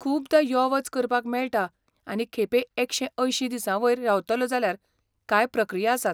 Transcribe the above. खुबदां यो वच करपाक मेळटा आनी खेपे एकशे अंयशीं दिसांवयर रावतलो जाल्यार कांय प्रक्रिया आसात.